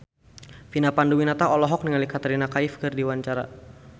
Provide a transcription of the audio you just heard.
Vina Panduwinata olohok ningali Katrina Kaif keur diwawancara